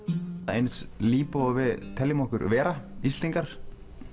eins líbó og við teljum okkur vera Íslendingar